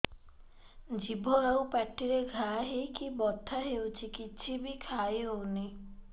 ଜିଭ ଆଉ ପାଟିରେ ଘା ହେଇକି ବଥା ହେଉଛି କିଛି ବି ଖାଇହଉନି